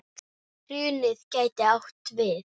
Hrunið gæti átt við